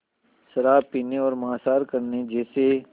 शराब पीने और मांसाहार करने जैसे